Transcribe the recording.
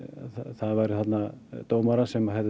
það væru þarna dómarar sem hefðu